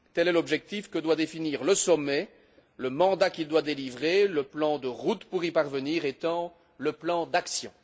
Tel est l'objectif que doit définir le sommet, le mandat qu'il doit délivrer, le plan de route pour y parvenir étant le plan d'action.